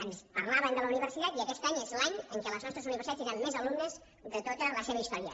ens parlaven de la universitat i aquest any és l’any en què les nostres universitat tindran més alumnes de tota la seva història